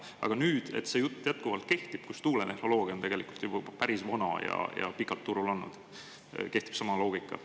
Aga nüüd, et see jutt jätkuvalt kehtib, kus tuuletehnoloogia on tegelikult juba päris vana ja pikalt turul olnud, kehtib sama loogika.